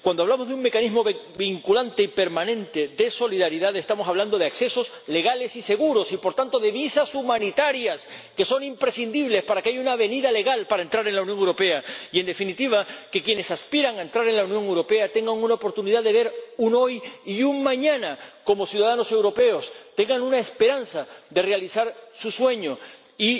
Cuando hablamos de un mecanismo vinculante y permanente de solidaridad, estamos hablando de accesos legales y seguros y, por tanto, de visados humanitarios, que son imprescindibles para que haya una vía legal para entrar en la Unión Europea y, en definitiva, para que quienes aspiran a entrar en la Unión Europea tengan una oportunidad de ver un hoy y un mañana como ciudadanos europeos, tengan una esperanza de realizar su sueño y